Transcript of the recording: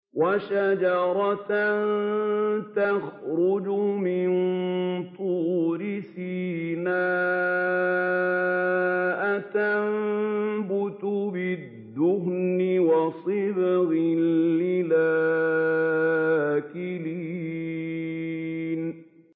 وَشَجَرَةً تَخْرُجُ مِن طُورِ سَيْنَاءَ تَنبُتُ بِالدُّهْنِ وَصِبْغٍ لِّلْآكِلِينَ